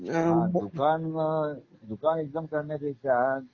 दुकान अ दुकान एकदम करण्या पेक्षा